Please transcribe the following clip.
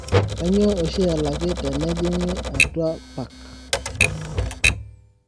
kainyoo oshi elaki tenenyingi atua park